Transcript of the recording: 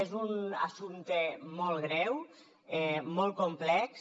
és un assumpte molt greu molt complex